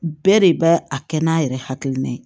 Bɛɛ de bɛ a kɛ n'a yɛrɛ hakilina ye